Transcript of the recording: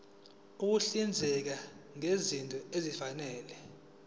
ukuhlinzeka ngezinto ezifanele